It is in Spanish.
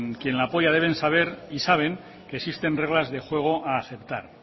quien la apoya deben saber y saben que existen reglas de juego a aceptar